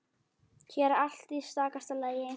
Hér er allt í stakasta lagi.